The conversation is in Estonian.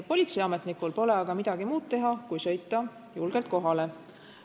Politseiametnikul pole aga midagi muud teha kui sõita kohale.